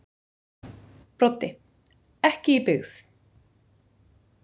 Broddi: Ekki í byggð.